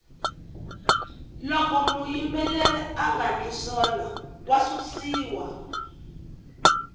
loko muyimbeleri anga ndli swona wa susiwa